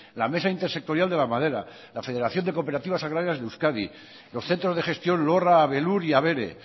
la mesa intersectorial de la madera la federación de cooperativas agrarias de euskadi los centros de gestión lorra abelur y abere